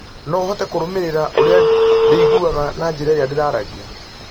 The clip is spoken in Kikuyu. no ũhote kũrũmĩrĩra ũrĩa ndĩiguaga na njĩra ĩrĩa ndĩraragia